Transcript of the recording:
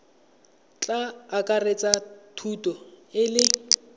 tla akaretsa thuto e le